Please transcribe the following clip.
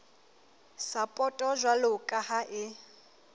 sapoto jwalo ka ha e